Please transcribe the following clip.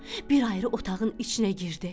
Bir ayrı otağın içinə girdi,